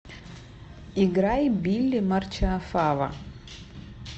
играй билли марчиафава